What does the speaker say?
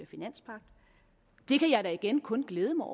finanspagt det kan jeg da igen kun glæde mig